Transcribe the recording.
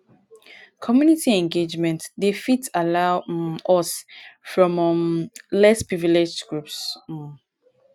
community engagement dey fit allow um us here from um less privileged groups um